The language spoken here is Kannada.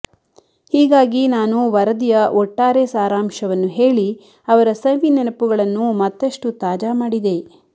ಹೀಗಾಗಿ ನಾನು ವರದಿಯ ಒಟ್ಟಾರೆ ಸಾರಾಂಶವನ್ನು ಹೇಳಿ ಅವರ ಸವಿನೆನಪುಗಳನ್ನು ಮತ್ತಷ್ಟು ತಾಜಾ ಮಾಡಿದೆ